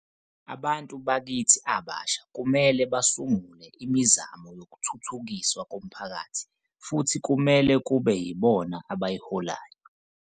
Abantu bakithi abasha kumele basungule imizamo yokuthuthukiswa komphakathi futhi kumele kube yibona abayiholayo.